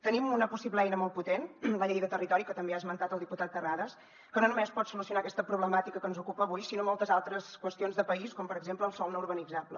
tenim una possible eina molt potent la llei de territori que també ha esmentat el diputat terrades que no només pot solucionar aquesta problemàtica que ens ocupa avui sinó moltes altres qüestions de país com per exemple el sòl no urbanitzable